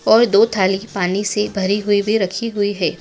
और दो थाली पानी से भरी हुई भी रखी हुई है।